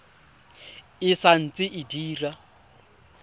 e sa ntse e dira